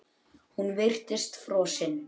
Hún virtist frosin.